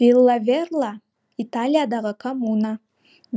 виллаверла италиядағы коммуна